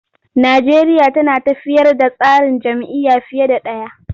Najeriya tana tafiyar da tsarin jam'iyya fiye da ɗaya.